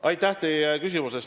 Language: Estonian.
Aitäh teile küsimuse eest!